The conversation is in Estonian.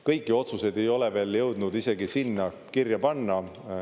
Kõiki otsuseid ei ole veel jõudnud isegi sinna kirja panna.